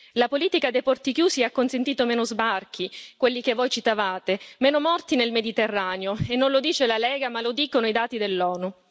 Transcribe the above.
La politica dei porti chiusi ha consentito meno sbarchi, quelli che voi citavate, meno morti nel Mediterraneo, e non lo dice la Lega, ma lo dicono i dati dell'ONU.